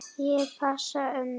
Ég passa ömmu.